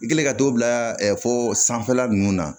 I kɛlen ka dɔw bila fo sanfɛla nunnu na